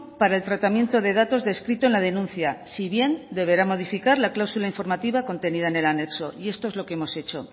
para el tratamiento de datos descrito en la denuncia si bien deberá modificar la cláusula informativa contenida en el anexo y esto es lo que hemos hecho